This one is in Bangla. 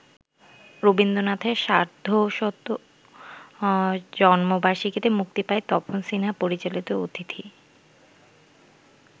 রবীন্দ্রনাথের সার্ধশত জন্মবার্ষিকীতে মুক্তি পায় তপন সিনহা পরিচালিত ‘অতিথি’।